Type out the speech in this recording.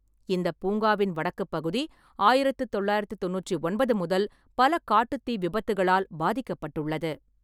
இந்தப் பூங்காவின் வடக்குப் பகுதி ஆயிரத்து தொள்ளாயிரத்தி தொண்ணூற்றி ஒன்பது முதல் பல காட்டுத் தீ விபத்துகளால் பாதிக்கப்பட்டுள்ளது.